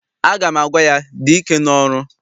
Aga m agwa ya, dị ike n'ọrụ!